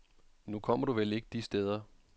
Nu kommer du vel ikke de steder.